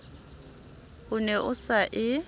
o ne o sa e